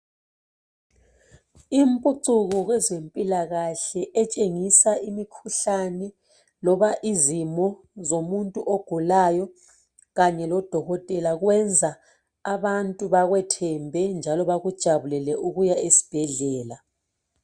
imiphucuko kwezempilakahle etshengisa imikhuhlane noma izimi zomuntu ogulayo kanye lodokotela kuyenza abantu bekwethembe njalo bekujabulele ukuya esibhedlela